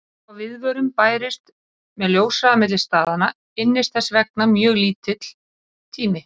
Þó að viðvörun bærist með ljóshraða milli staðanna ynnist þess vegna mjög lítill tími.